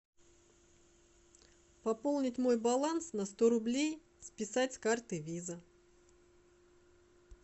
пополнить мой баланс на сто рублей списать с карты виза